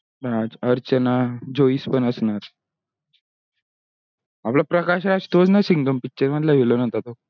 अर्चना जोईष पण असनार आपला प्रकाश राज तोच ना सिंघ picture मधल villain होता तो